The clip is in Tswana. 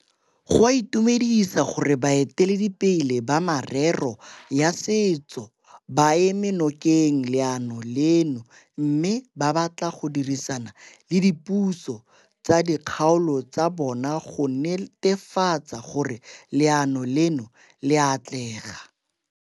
Go a itumedisa gore baeteledipele ba merero ya setso ba eme nokeng leano leno mme ba batla go dirisana le dipuso tsa dikgaolo tsa bona go netefatsa gore leano leno le a atlega.